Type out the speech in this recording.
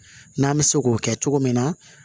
N'an bɛ se k'o kɛ cogo min na